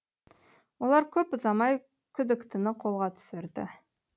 олар көп ұзамай күдіктіні қолға түсірді